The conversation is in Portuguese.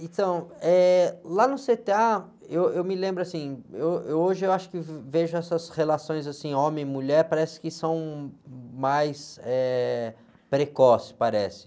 Então, eh, lá no cê-tê-á, eu, eu me lembro assim, eu, eu, hoje eu acho que vejo essas relações assim, homem e mulher, parece que são mais, eh, precoces, parece.